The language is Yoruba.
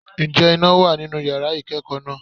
Ǹjẹ́ iná wà nínú yàrá ìkẹ́kọ̀ọ́ náà?